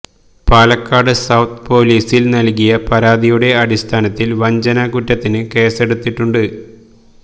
Palakkad south പൊലീസിൽ നൽകിയ പരാതിയുടെ അടിസ്ഥാനത്തിൽ വഞ്ചന കുറ്റത്തിന് കേസ്സെടുത്തിട്ടുണ്ട്